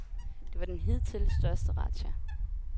Det var den hidtil største razzia.